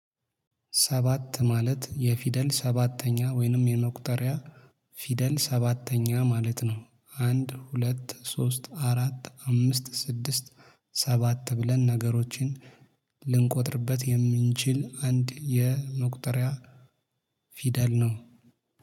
ሰባት ማለት የፊደል ሰባተኛ ወይንም የመቁጠሪያ ፊደል ሰባተኛ ማለት ነው። አንድ ሁለት ሶስት አራት አምስት ስድስት። ሰባት ብለን ነገሮችን ልንቆጥርበት የምንችል አንድ የመቁጠሪያ ፊደል ነው